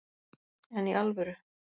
En í alvöru